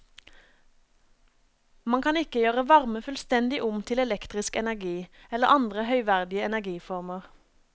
Man kan ikke gjøre varme fullstendig om til elektrisk energi eller andre høyverdige energiformer.